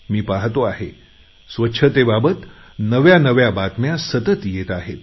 मी पाहतो आहे स्वच्छतेबाबत नव्या नव्या बातम्या सतत येत आहेत